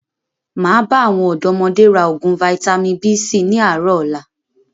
Máa bá àwọn ọ̀dọ́modé náà raa oògùn Vitamin B síí ni àárọ̀ ọ̀la